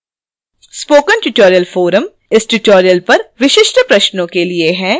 spoken tutorial forum इस tutorial पर विशिष्ट प्रश्नों के लिए है